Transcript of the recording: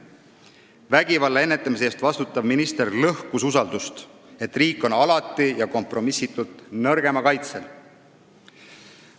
Vägivalla ennetamise eest vastutav minister lõhkus usaldust, et riik on alati ja kompromissitult nõrgema kaitsel.